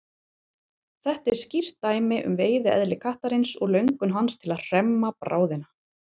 Þetta er skýrt dæmi um veiðieðli kattarins og löngun hans til að hremma bráðina.